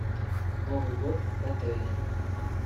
новый год в отеле